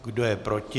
Kdo je proti?